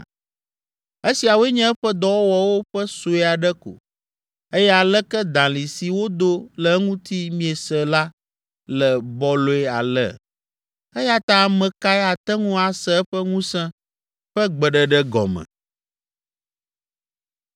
Esiawoe nye eƒe dɔwɔwɔwo ƒe sue aɖe ko eye aleke dalĩ si wodo le eŋuti miese la le bɔlɔe ale! Eya ta ame kae ate ŋu ase eƒe ŋusẽ ƒe gbeɖeɖe gɔme?”